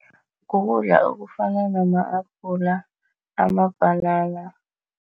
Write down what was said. Ngokudla okufana nama-abhula, amabhanana.